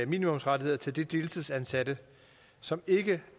minimumsrettigheder til de deltidsansatte som ikke